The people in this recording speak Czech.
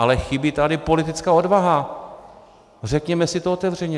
Ale chybí tady politická odvaha, řekněme si to otevřeně.